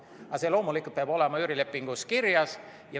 Aga see loomulikult peab olema üürilepingus kirjas.